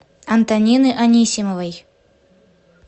антонины анисимовой